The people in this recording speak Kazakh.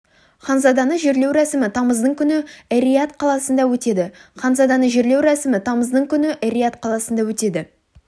ханзаданы жерлеу рәсімі тамыздың күні эр-рияд қаласында өтеді ханзаданы жерлеу рәсімі тамыздың күні эр-рияд қаласында өтеді